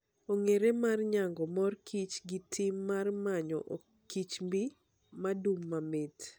Ong'ere mar nyago mor kich gi tim mar manyo okichmb madum mamait.